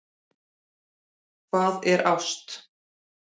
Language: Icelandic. Hvað er ást?